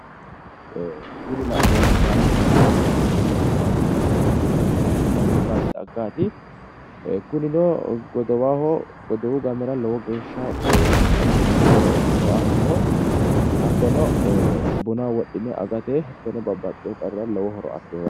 Kuni la'neemmohu baadi xaggaati yaate kunino su'masi maati yinayi su'masi sunkurtaho yine woshshinayi kunino gidowaho godowu gamera lowo geehsha xaginateho lowo horo aanno yaate hattono bunaho wodhine babbaxxewo qarrira horo afirewo yaate.